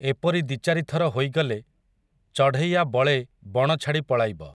ଏପରି ଦି'ଚାରିଥର ହୋଇଗଲେ, ଚଢ଼େଇଆ ବଳେ ବଣ ଛାଡ଼ି ପଳାଇବ ।